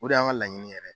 O de y'an ka laɲini yɛrɛ ye